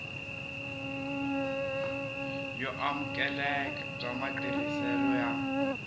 yo amukeleka bya matirhiselo ya